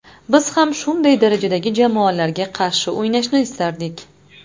Biz ham shunday darajadagi jamoalarga qarshi o‘ynashni istardik.